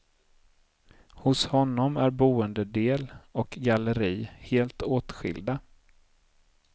Hos honom är boendedel och galleri helt åtskilda.